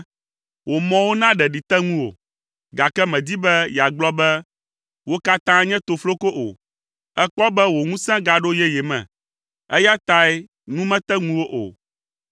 Wò mɔwo na ɖeɖi te ŋuwò, gake mèdi be yeagblɔ be, ‘Wo katã nye tofloko’ o. Èkpɔ be wò ŋusẽ gaɖo yeye me, eya tae nu mete ŋuwò o.